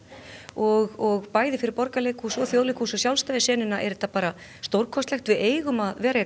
og bæði fyrir Borgarleikhús og Þjóðleikhús og sjálfstæðu senuna er þetta bara stórkostlegt við eigum að vera